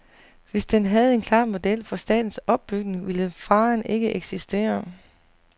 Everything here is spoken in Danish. Hvis den havde en klar model for statens opbygning, ville faren ikke eksistere.